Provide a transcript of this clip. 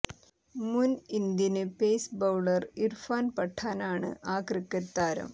മുന് Indian pace bowler Irfan പഠാനാണ് ആ ക്രിക്കറ്റ് താരം